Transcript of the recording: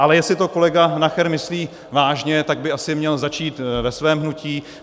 Ale jestli to kolega Nacher myslí vážně, tak by asi měl začít ve svém hnutí.